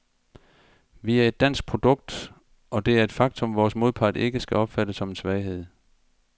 Vi er et dansk produkt, og det er et faktum, vores modpart ikke skal opfatte som en svaghed.